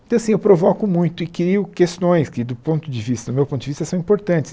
Então, assim, eu provoco muito e crio questões que, do ponto de vista meu ponto de vista, são importantes.